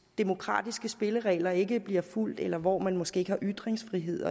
demokratiske spilleregler ikke bliver fulgt eller hvor man måske ikke har ytringsfrihed